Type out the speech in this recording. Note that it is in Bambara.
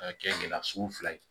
Ka kɛ gɛlɛya so fila ye